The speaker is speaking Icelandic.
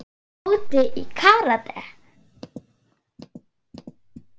Tóti í karate.